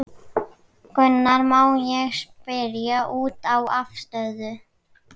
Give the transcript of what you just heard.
Gunnar: Má ég spyrja út í afstöðu?